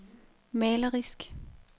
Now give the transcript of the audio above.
malerisk